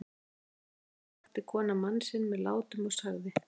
Um miðja nótt vakti konan mann sinn með látum og sagði